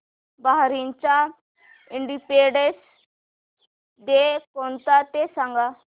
बहारीनचा independence day कोणता ते सांगा